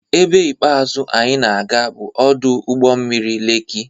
Ebe ikpeazụ anyị na-aga bụ ọdụ ụgbọ mmiri Lekki.